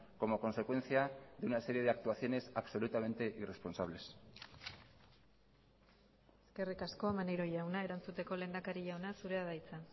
como consecuencia de una serie de actuaciones absolutamente irresponsables eskerrik asko maneiro jauna erantzuteko lehendakari jauna zurea da hitza